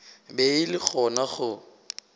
be e le gona go